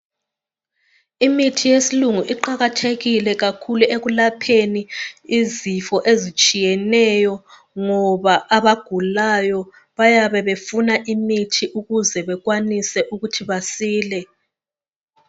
Imithi yesilungu iqakathekile kakhulu ekulapheni izifo ezitshiyeneyo ngoba abagulayo bayabe befuna imithi ukuze bekwanise ukuthi basile.